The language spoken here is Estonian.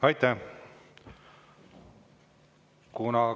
Aitäh!